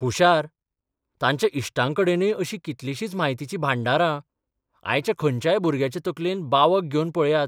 हुशार, तांच्या इश्टांकडेनय अशीं कितलीशींच म्हायतीची भांडारां, आयच्या खंयच्याय भुरग्याचे तकलेंत बावग घेवन पळयात.